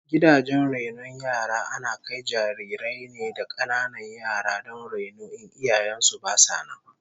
Gidajen rainon yara ana kai jarirai ne da kananan yara don raino in iyayen su basu nan